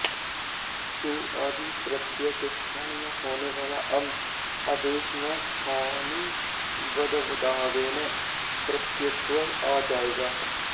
सु आदि प्रत्यय के स्थान में होने वाला अम् आदेश में स्थानिवद्धावेन प्रत्ययत्व आ जायेगा